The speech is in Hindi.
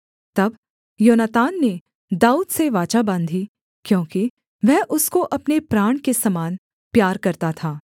तब योनातान ने दाऊद से वाचा बाँधी क्योंकि वह उसको अपने प्राण के समान प्यार करता था